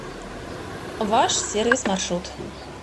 ваш сервис маршрут